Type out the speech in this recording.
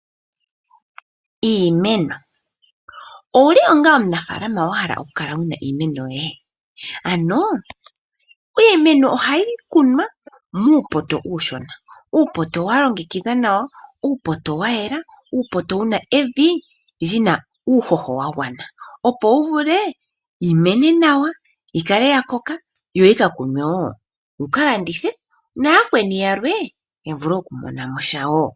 Iimeno, owuli onga omunafaalama wa hala oku kala wuna iimeno yoye? Ano iimeno ohayi kunwa muupoto uushona. Uupoto wa longekidhwa nawa, uupoto wa yela. Uupoto wuna evi lyina uuhoho wa gwana. Opo wu vule yi mene nawa yi kale ya koka yo yika kunwe wo, wuka landithe na yakweni yalwe ya vule oku mona mo sha wo.